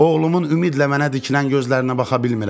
Oğlumun ümidlə mənə dikilən gözlərinə baxa bilmirəm.